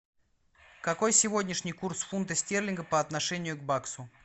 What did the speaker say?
какой сегодняшний курс фунта стерлинга по отношению к баксу